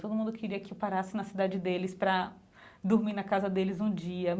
Todo mundo queria que eu parasse na cidade deles para dormir na casa deles um dia.